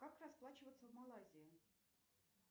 как расплачиваться в малайзии